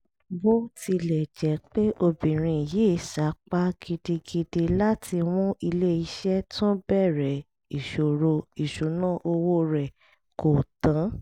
bó tilẹ̀ jẹ́ pé obìnrin yìí sapá gidigidi láti mú ilé iṣẹ́ tún bẹ̀rẹ̀ ìṣòro ìṣúnná owó rẹ̀ kò tán